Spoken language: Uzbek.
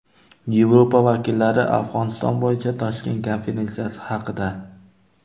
Yevropa vakillari Afg‘oniston bo‘yicha Toshkent konferensiyasi haqida.